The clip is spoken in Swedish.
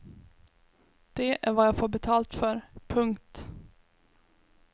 Det är vad jag får betalt för. punkt